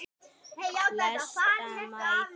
Flestar mæður.